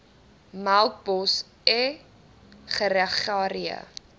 melkbos e gregaria